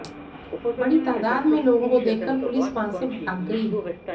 बड़ी तादाद में लोगों को देखकर पुलिस वहां से भाग गई